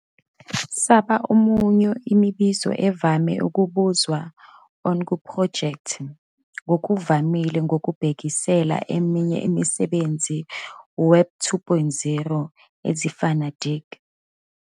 saba omunye imibuzo evame ukubuzwa on kuphrojekthi, ngokuvamile ngokubhekisela eminye imisebenzi Web 2.0 ezifana Digg.